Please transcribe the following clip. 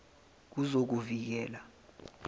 wezokuvikela